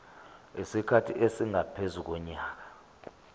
isikhathi esingaphezu konyaka